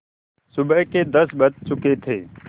सुबह के दस बज चुके थे